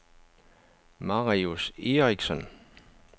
Marius Eriksen